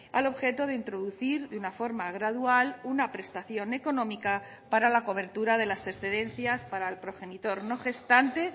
al objeto de introducir de una forma gradual una prestación económica para la cobertura de las excedencias para el progenitor no gestante